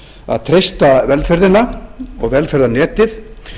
að treysta velferðina og velferðarnetið